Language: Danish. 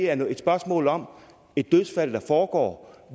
er et spørgsmål om et dødsfald der foregår